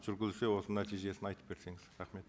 жүргізілсе осы нәтижесін айтып берсеңіз рахмет